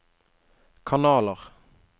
kanaler